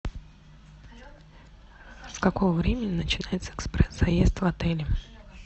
с какого времени начинается экспресс заезд в отеле